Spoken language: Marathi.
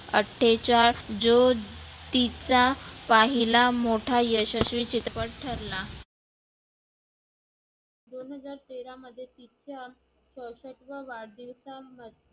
अठ्ठेचाळ जो तीचा पाहिला मोठा यशस्वी चित्रपट ठरला. दोन हजार तेरा मध्ये तीच्या सशस्ववादीचा